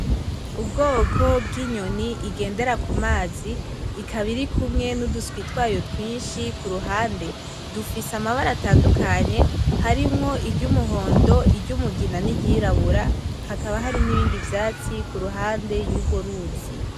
Ubwoko bw'inyoni igendera kumazi, ikaba irikumwe n'uduswi twayo twinshi kuruhande. Dufise amabara atandukanye harimwo iry'umuhondo, iry'umugina niry'irabura. Hakaba hari nibindi vyatsi kuruhande yurwo ruzi.